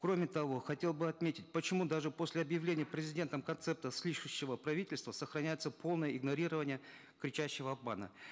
кроме того хотел бы отметить почему даже после объявления президентом концепта слышащего правительства сохраняется полное игнорирование кричащего обмана